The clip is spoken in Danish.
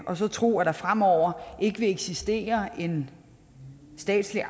og så tro at der fremover ikke vil eksistere en statslig